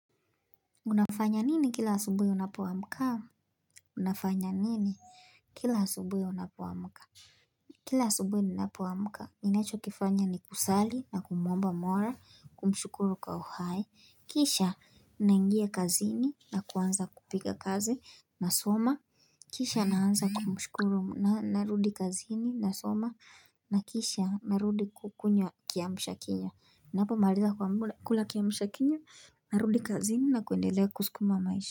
Unafanya nini kila asubuhi unapoamka? Unafanya nini? Kila asubuhi unapoamka? Kila asubuhi ninapoamka, ninachokifanya ni kusali na kumuomba mola, kumshukuru kwa uhai, kisha naingia kazini na kuanza kupiga kazi, nasoma Kisha naanza kumshukuru, narudi kazini, nasoma, na kisha narudi kukunywa kiamshakinywa Ninapo maliza kula kiamshakinywa narudi kazini na kuendelea kuskuma maisha.